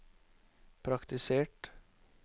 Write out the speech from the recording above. praktisert